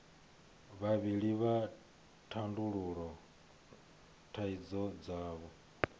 vhavhili vha tandulula thaidzo dzavho